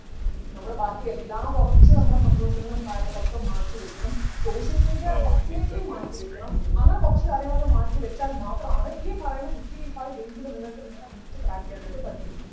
നമ്മള് ബാക്കിയെല്ലാം കുറച്ചു നമ്മുടെ സന്തോഷങ്ങളും കാര്യങ്ങളൊക്കെ മാറ്റിവയ്ക്കണം social media definitely മാറ്റിവയ്ക്കണം അങ്ങനെ കുറച്ചു കാര്യങ്ങളൊക്കെ മാറ്റിവച്ചാൽ മാത്രമാണ് ഈ പറയുന്ന sixty five days ൽ നിങ്ങൾക്ക് നിങ്ങളുടെ NEET crack ചെയ്യാനായിട്ട് പറ്റുള്ളൂ